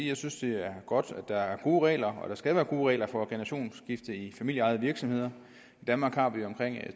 jeg synes det er godt at der er gode regler og at der skal være gode regler for generationsskifte i familieejede virksomheder i danmark har vi omkring